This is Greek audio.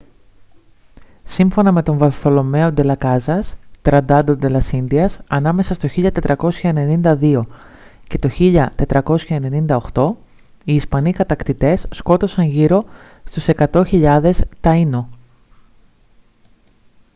σύμφωνα με τον βαρθολομαίο ντε λας κάζας tratado de las indias ανάμεσα στο 1492 και 1498 οι ισπανοί κατακτητές σκότωσαν γύρω στους 100.000 taíno